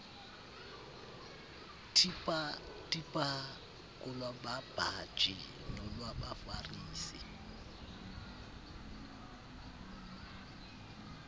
tipha kolwababhaji nolwabafarisi